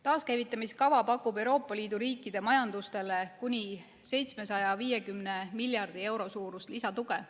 Taaskäivitamiskava pakub Euroopa Liidu riikide majandusele kuni 750 miljardi euro suurust lisatuge.